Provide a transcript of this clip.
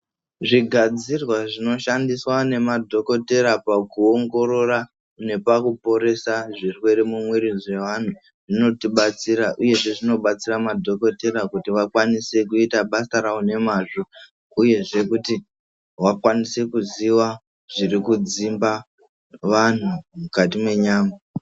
Zvigadzirwa zvinoshandiswa nemadhokotera pakuongorora nepakuporesa zverwere mumwiri dzevanhu zvinotibatsira uyezve zvinobatsira madhokotera kuti vakwanise kuita basa ravo nemazvo uyezve kuti vakwanise kuziva zvirikudzimba vanhu mukati mwenyama.